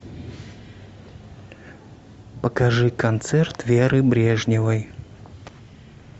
покажи концерт веры брежневой